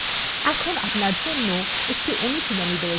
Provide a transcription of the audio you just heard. এখন আপনার জন্য একটি অনুশীলনী রয়েছে